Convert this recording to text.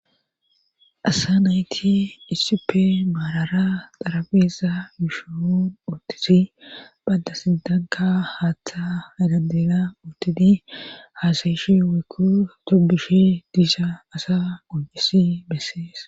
asa nayti issippe maalara xarabeesa yushon utisi bada sidanka haaththa adadela uttidi haasayishi wekku tobishi diisha asa qojisi bessees